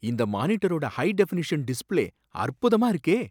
இந்த மானிட்டரோட high definition display அற்புதமா இருக்கே